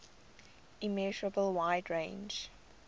immeasurable wide range